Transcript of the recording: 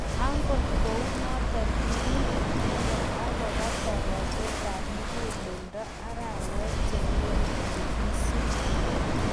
Angot kounotok, kime inendet akopa tapatetap muguleldo arawet chenge'ering' che kiisup